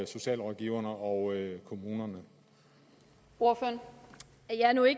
socialrådgiverne og kommunerne over for